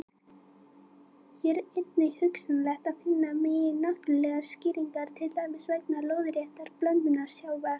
Hér er einnig hugsanlegt að finna megi náttúrlegar skýringar, til dæmis vegna lóðréttrar blöndunar sjávar.